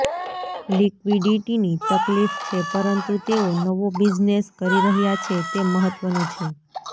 લિક્વિડિટીની તકલીફ છે પરંતુ તેઓ નવો બિઝનેસ કરી રહ્યા છે તે મહત્ત્વનું છે